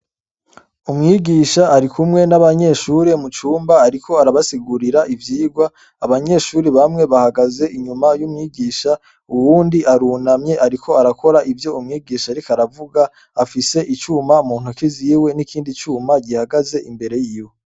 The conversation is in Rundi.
Umwigisha arikumwe n'abanyeshure mucumba ariko arabasigurira ivyigwa. Abanyeshure bamwe bahagaze inyuma y'umwigisha uwundi arunamye ariko arakora ivyo umwigisha ariko aravuga afise icuma muntoke ziwe n'ikindi cuma gihagaze imbere yiwe.